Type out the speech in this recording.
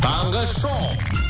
таңғы шоу